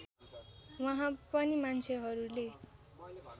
वहाँ पनि मान्छेहरूले